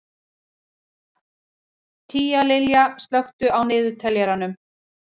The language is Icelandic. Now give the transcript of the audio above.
Tíalilja, slökktu á niðurteljaranum.